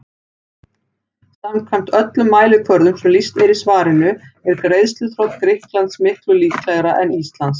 Samkvæmt öllum mælikvörðum sem lýst er í svarinu er greiðsluþrot Grikklands miklu líklegra en Íslands.